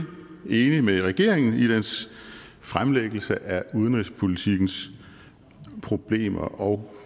enig med regeringen i dens fremlæggelse af udenrigspolitikkens problemer og